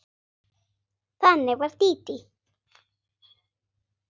Þannig var Dídí.